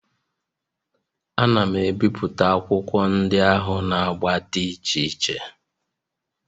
Ana m ebipụta akwụkwọ ndị ahụ na agba dị iche iche